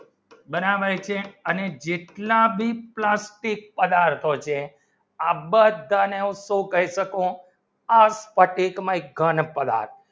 બરાબર છે અને જેટલા બી plastic પદાર્થો છે આ બધા ને તો કહી શકો આ સ્ફટિકમાં ઘ પદાર્થ